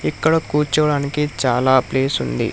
ఇక్కడ కూర్చోవడానికి చాలా ప్లేస్ ఉంది.